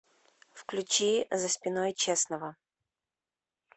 включи за спиной честного